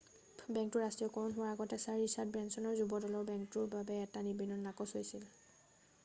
বেংকটোৰ ৰাষ্ট্ৰীয়কৰণ হোৱাৰ আগতে ছাৰ ৰিচাৰ্ড ব্ৰেঞ্চনৰ যুৱ দলৰ বেংকটোৰ বাবে এটা নিবেদন নাকচ হৈছিল